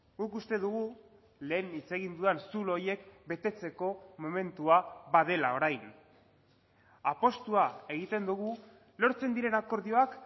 guk uste dugu lehen hitz egin dudan zulo horiek betetzeko momentua badela orain apustua egiten dugu lortzen diren akordioak